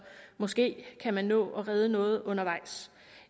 måske kan man nå at redde noget undervejs